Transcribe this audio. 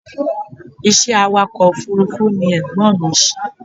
Ìṣe awàkọ̀ òfúrúfú ni Ẹ̀gbọ́n mi ṣe.